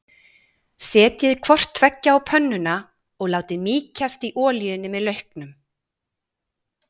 Setjið hvort tveggja á pönnuna og látið mýkjast í olíunni með lauknum.